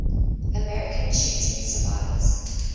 american shooting survivors